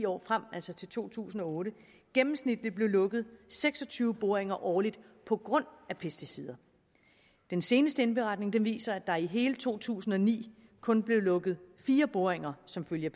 år frem altså til to tusind og otte gennemsnitligt blev lukket seks og tyve boringer årligt på grund af pesticider den seneste indberetning viser at der i hele to tusind og ni kun blev lukket fire boringer som følge